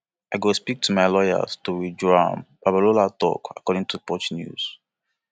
i go speak to my lawyers to withdraw am babalola tok according to punch newspaper